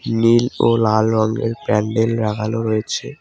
নীল ও লাল রঙের প্যান্ডেল লাগানো রয়েছে।